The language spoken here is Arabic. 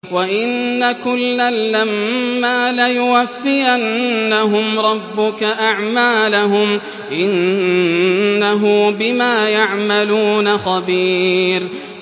وَإِنَّ كُلًّا لَّمَّا لَيُوَفِّيَنَّهُمْ رَبُّكَ أَعْمَالَهُمْ ۚ إِنَّهُ بِمَا يَعْمَلُونَ خَبِيرٌ